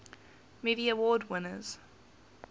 movie award winners